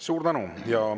Suur tänu!